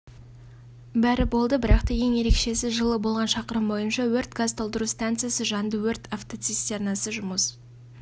бәрі болды бірақта ең ерекшесі жылы болған шақырым бойынша өрт газтолтыру станциясы жанды өрт автоцистернасы жұмыс